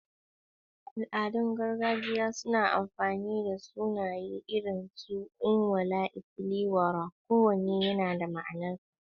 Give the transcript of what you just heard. Al’adun gargajiya na amfani da sunaye irin su Onwa-na-etili-ora, kowanne da ma’anarsa.